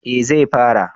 Eh zai fara